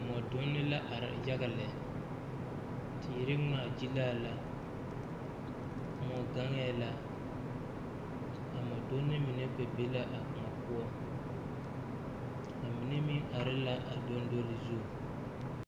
Mɔdunne la are yaga lɛ teere ngmaagyilaa la kõɔ gaŋɛɛ la a mɔdunne mine kpɛ be la a kõɔ poɔ a mine meŋ are la a doŋdoli zu.